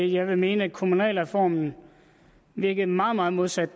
jeg vil mene at kommunalreformen virkede meget meget modsat